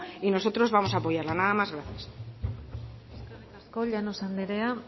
y nosotros vamos a apoyarla nada más gracias eskerrik asko llanos andrea